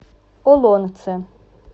олонце